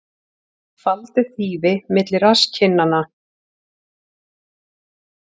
Faldi þýfi milli rasskinnanna